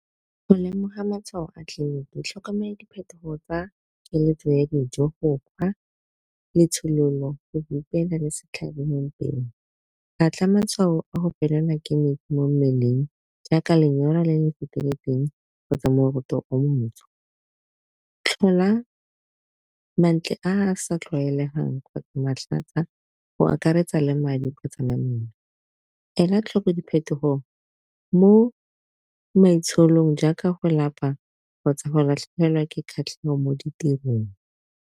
Go lemoga matshwao a tlhokomela diphetogo tsa keletso ya dijo, go kgwa, letshololo go le setlhabi mo mpeng, ba tla matshwao a go mo mmeleng jaaka lenyora le le feteletseng kgotsa moroto o montsho. Tlhola mantle a a sa tlwaelegang kgotsa matlhatsa go akaretsa le ela tlhoko diphetogo mo maitsholong jaaka go lapa kgotsa go latlhegelwa ke kgatlhego mo ditirong.